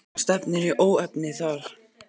Það stefnir í óefni þar.